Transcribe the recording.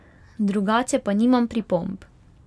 Drugače pa nimam pripomb.